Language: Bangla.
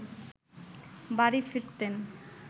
বাড়ি ফিরতেন